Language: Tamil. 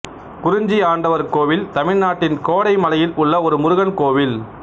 குறிஞ்சி ஆண்டவர் கோவில் தமிழ்நாட்டின் கோடைமலையில் உள்ள ஒரு முருகன் கோவில்